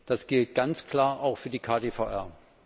Das gilt ganz klar auch für die KDVR.